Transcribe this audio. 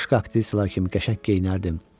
Başqa aktrisalar kimi qəşəng geyinərdim.